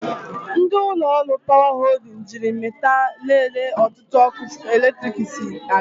Ndị ụlọ ọrụ 'Power Holding' jiiri mita lelee otu ọkụ eletrik si aga.